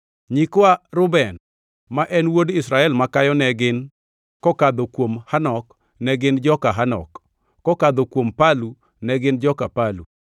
Nyikwa Reuben, ma en wuod Israel makayo, ne gin: kokadho kuom Hanok, ne gin joka Hanok; kokadho kuom Palu, ne gin joka Palu;